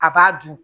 A b'a dun